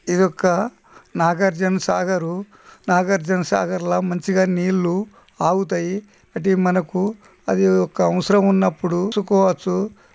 ఇ-ఇ-ఇదొక్క నాగార్జునసాగరూ నాగార్జునసాగర్ల మంచిగా నీళ్లు ఆగుతయి ఇది మనకు అది ఒక అవసరం ఉన్నప్పుడు --